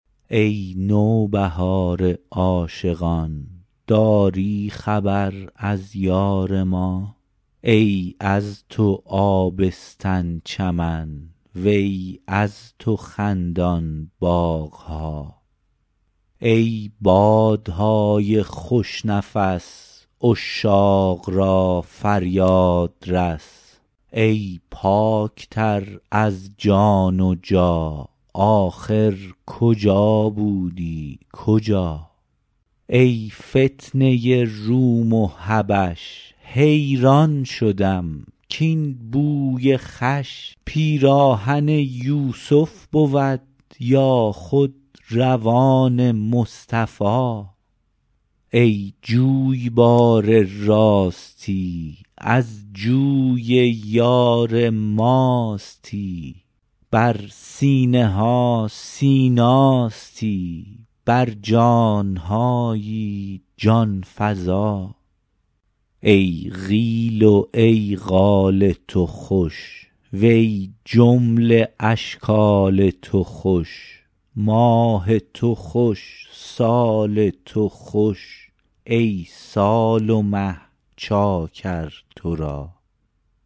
ای نوبهار عاشقان داری خبر از یار ما ای از تو آبستن چمن وی از تو خندان باغ ها ای باد نای خوش نفس عشاق را فریاد رس ای پاک تر از جان جا ن آخر کجا بودی کجا ای فتنه روم و حبش حیران شدم کاین بوی خوش پیراهن یوسف بود یا خود ردای مصطفی ای جویبار راستی از جوی یار ماستی بر سینه ها سیناستی بر جان هایی جان فزا ای قیل و ای قال تو خوش و ای جمله اشکال تو خوش ماه تو خوش سال تو خوش ای سال و مه چاکر تو را